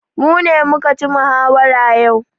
Mu ne muka ci muhawara yau.